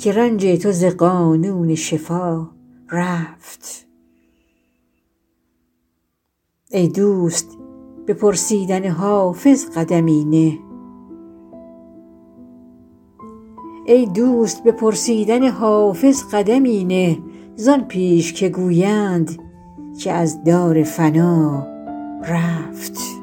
که رنج تو ز قانون شفا رفت ای دوست به پرسیدن حافظ قدمی نه زان پیش که گویند که از دار فنا رفت